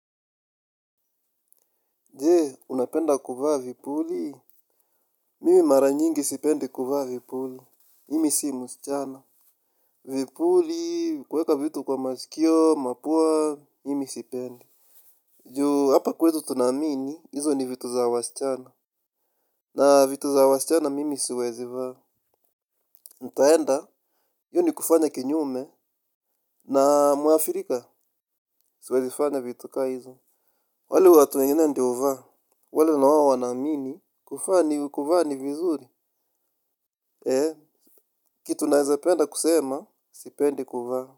Jee, unapenda kuvaa vipuli? Mimi mara nyingi sipendi kuvaa vipuli. Mimi si msichana. Vipuli, kuweka vitu kwa masikio, mapua, mimi sipendi. Juu, hapa kwetu tunaamini, hizo ni vitu za wasichana. Na vitu za wasichana, mimi siwezi vaa. Nitaenda, hiyo ni kufanya kinyume, na mwafrika, siwezi fanya vitu kaa izo. Wale watu wengine ndo huvaa, wale nao wanaamini, kuvaa ni, kuvaa ni vizuri. Hee, kitu naweza penda kusema, sipendi kuvaa.